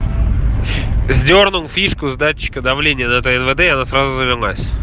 сдёрнул фишку с датчика давления на тнвд и она сразу завелась